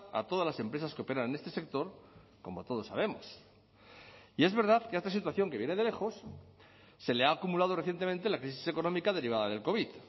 a todas las empresas que operan en este sector como todos sabemos y es verdad que a esta situación que viene de lejos se le ha acumulado recientemente la crisis económica derivada del covid